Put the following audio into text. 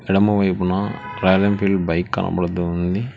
ఎడమవైపున Royal Enfield bike కనబడుతోంది.